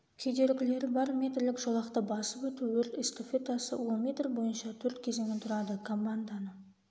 кедергілері бар метрлік жолақты басып өту өрт эстафетасы ол метр бойынша төрт кезеңнен тұрады команданың